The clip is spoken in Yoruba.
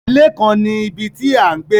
Ile kan ni ibi ti a n gbe